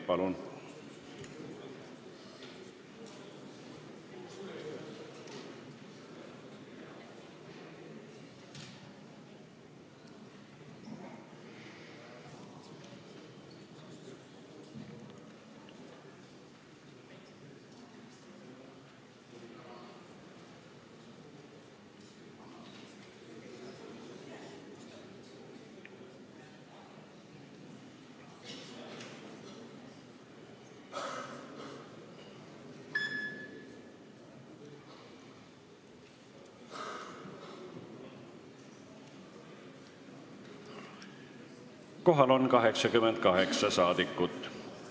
Kohaloleku kontroll Kohal on 88 saadikut.